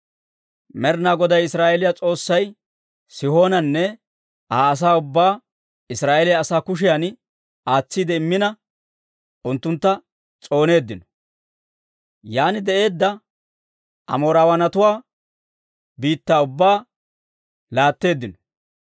Med'inaa Goday Israa'eeliyaa S'oossay Sihoonanne Aa asaa ubbaa Israa'eeliyaa asaa kushiyan aatsiide immina, unttuntta s'ooneeddino; yaan de'eedda Amoorawaanatuwaa biittaa ubbaa laatteeddino.